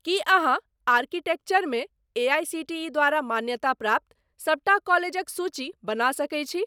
की अहाँ आर्किटेक्चर मे एआईसीटीई द्वारा मान्यताप्राप्त सबटा कॉलेजक सूची बना सकैत छी?